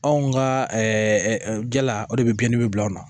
Anw ka jala o de bɛ biɲɛdimi bila anw na